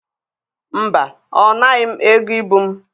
Mba, ọ naghị m ego ibu m.